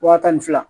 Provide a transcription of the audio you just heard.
Wa tan ni fila